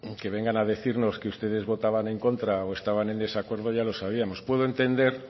que vengan a decirnos que ustedes votaban en contra o estaban en desacuerdo ya lo sabíamos puedo entender